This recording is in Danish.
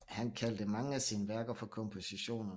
Han kaldte mange af sine værker for kompositioner